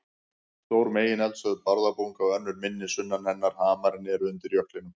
Stór megineldstöð, Bárðarbunga, og önnur minni sunnan hennar, Hamarinn, eru undir jöklinum.